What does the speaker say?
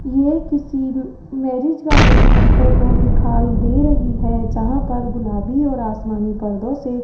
ये किसी marriage garden की फोटो दिखाई दे रही है जहां पर गुलाबी और आसमानी पर्दों से --